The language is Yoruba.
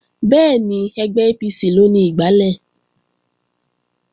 Bẹ́ẹ̀ni, ẹgbẹ́ APC ló ni igbálẹ̀